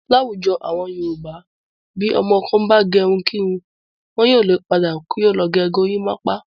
Láwùjọ àwọn Yorùbá bí ọmọ kan bá gẹrun kírun. Wọn yóò le padà kí ó lọ gę gorímápá.